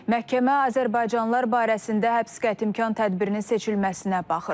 Məhkəmə azərbaycanlılar barəsində həbs qətimkan tədbirinin seçilməsinə baxır.